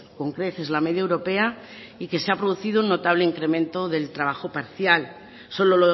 con creces la media europea y que se ha producido un notable incremento del empleo parcial solo